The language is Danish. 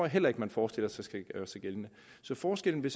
heller ikke man forestiller sig skal gøre sig gældende så forskellen vil